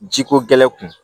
Jiko gɛlɛn kun